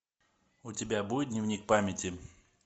у тебя будет дневник памяти